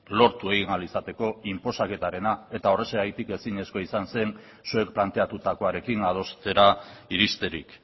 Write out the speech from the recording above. lortu egin ahal izateko inposaketarena eta horrexegatik ezinezkoa izan zen zuek planteatutakoarekin adostera iristerik